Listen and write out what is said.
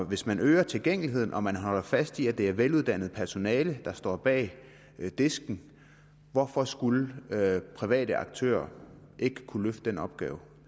hvis man øger tilgængeligheden og man holder fast i at det er veluddannet personale der står bag disken hvorfor skulle private aktører ikke kunne løfte den opgave